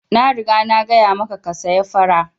Na riga na gaya maka ka saya fara!